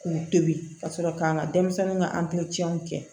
K'u tobi ka sɔrɔ k'an ka denmisɛnninw ka kɛ